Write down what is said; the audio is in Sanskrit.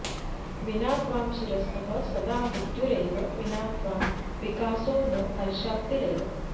विना त्वां शिरस्थः सदा मृत्युरेव विना त्वां विकासो न हर्षाप्तिरेव